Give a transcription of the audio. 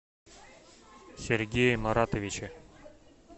сергее маратовиче